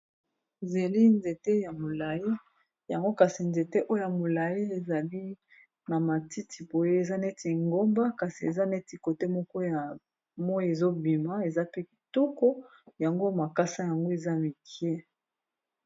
Zeli nzete ya molai yango kasi nzete o ya molai ezali na matiti boye eza neti ngomba kasi eza neti kote moko ya moyi ezobima eza pe kitoko yango makasa yango eza mike.